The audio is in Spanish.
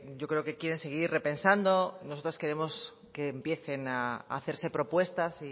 yo creo que quieren seguir repensando nosotros queremos que empiecen a hacerse propuestas